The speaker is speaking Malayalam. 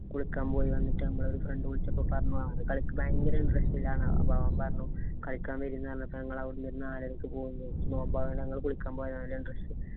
കുളിക്കാന്‍ പോയി വന്നിട്ടു ഞമ്മള് ഒരു friend വിളിച്ചപ്പോ പറഞ്ഞു അത് കളിക്കു ഭയങ്കര interest ഇലാണ്. അപ്പൊ അവന്‍ പറഞ്ഞു കളിക്കാന്‍ വരീ എന്ന് പറഞ്ഞപ്പോ ഞങ്ങള് അവിടുന്ന് ഒരു നാലരക്കു പോയി. നോമ്പായോണ്ട് ഞങ്ങള് കുളിക്കാന്‍ പോയതാ interes